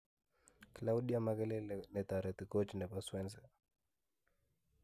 Claudia makelele netareti koch nepo-swansea